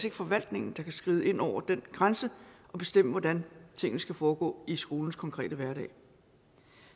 ikke forvaltningen der kan skride ind over den grænse og bestemme hvordan tingene skal foregå i skolens konkrete hverdag